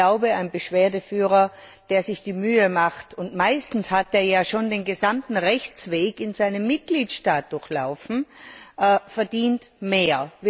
Ich glaube, ein Beschwerdeführer, der sich die Mühe macht und meistens hat der ja schon den gesamten Rechtsweg in seinem Mitgliedstaat durchlaufen verdient mehr.